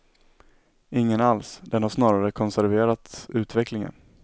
Ingen alls, den har snarare konserverat utvecklingen.